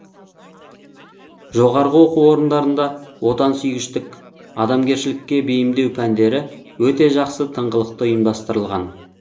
жоғарғы оқу орындарында отансүйгіштік адамгершілікке бейімдеу пәндері өте жақсы тыңғылықты ұйымдастырылған